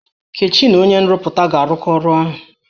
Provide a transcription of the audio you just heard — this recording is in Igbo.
Nkechi na onye nrụpụta ga-arụkọ ọrụ ọnụ.